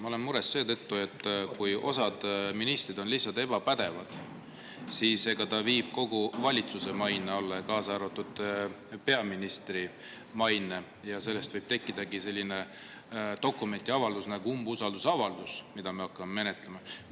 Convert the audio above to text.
Ma olen mures seetõttu, et kui osa ministreid on lihtsalt ebapädevad ja viivad kogu valitsuse, kaasa arvatud peaministri maine alla, siis sellest võib tekkidagi selline dokument ja avaldus nagu umbusaldusavaldus, mida me hakkame menetlema.